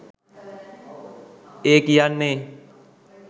ඒ කියන්නෙ